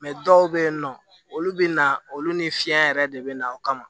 dɔw bɛ yen nɔ olu bɛ na olu ni fiɲɛ yɛrɛ de bɛ na o kama